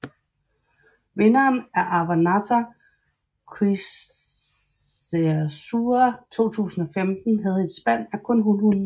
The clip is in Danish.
Vinderen af Avannaata Qimussersua 2015 havde et spand af kun hunhunde